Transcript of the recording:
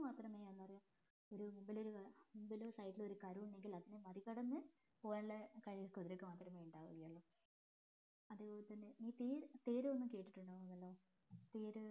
മാത്രമേ മുമ്പിലോ side ലോ ഒരു കരു ഉണ്ടെങ്കിൽ മറികടന്ന് പോകാനുള്ള കഴിവ് കുതിരക്ക് മാത്രമേ ഉണ്ടാവുകയുള്ളു അതേപോലെ തന്നെ തീര് തേര് ഒന്ന് കേട്ടിട്ടുണ്ടാവുമല്ലോ തേര്